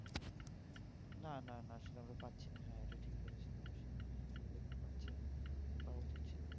না না না সেভাবে পাচ্ছি না হ্যাঁ এটা ঠিক বলেছো অবশ্যই সুবিধা গুলো পাচ্ছি না পাওয়া উচিৎ ছিল